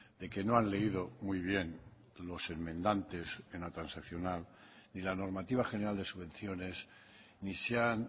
de que no han leído muy bien los enmendantes en la transaccional ni la normativa general de subvenciones ni se han